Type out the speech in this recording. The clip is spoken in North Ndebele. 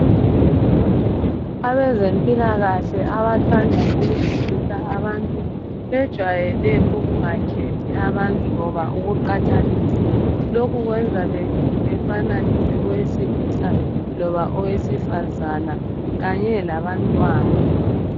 Abezempilakahle abathanda ukufundisa abantu bejwayele ukungakhethi abantu loba ukuqathanisa. Lokhu kwenza bebefananise owesilisa loba owesifazane kanye labantwana.